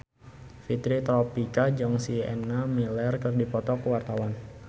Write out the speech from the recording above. Fitri Tropika jeung Sienna Miller keur dipoto ku wartawan